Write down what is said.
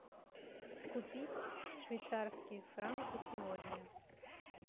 купить швейцарские франки сегодня